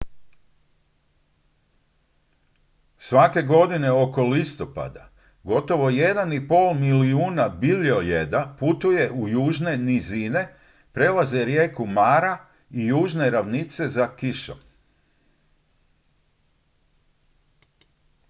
svake godine oko listopada gotovo 1,5 milijuna biljojeda putuje u južne nizine prelaze rijeku mara i južne ravnice za kišom